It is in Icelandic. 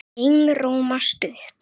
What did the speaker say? Einróma stutt.